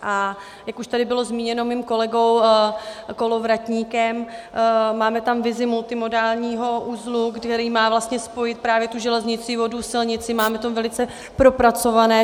A jak už tady bylo zmíněno mým kolegou Kolovratníkem, máme tam vizi multimodálního uzlu, který má vlastně spojit právě tu železnici, vodu, silnici, máme to velice propracované.